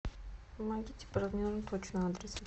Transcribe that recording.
помогите